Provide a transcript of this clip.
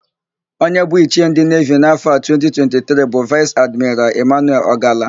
Onye bụ ichie ndị nevi n'afọ a bụ 2023 bụ Vaịs Admiral Ịmanuel Ọgala.